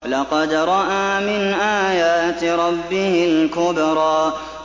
لَقَدْ رَأَىٰ مِنْ آيَاتِ رَبِّهِ الْكُبْرَىٰ